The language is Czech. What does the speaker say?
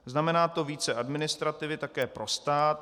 Znamená to více administrativy také pro stát.